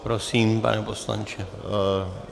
Prosím, pane poslanče.